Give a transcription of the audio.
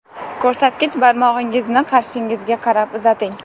Ko‘rsatkich barmog‘ingizni qarshingizga qarab uzating.